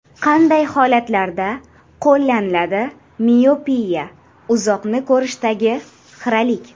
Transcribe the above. Qanday holatlarda qo‘llaniladi Miopiya: uzoqni ko‘rishdagi xiralik.